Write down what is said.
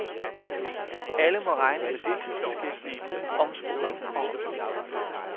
Alle må regne med deltidsbeskæftigelse, omskoling og omstilling.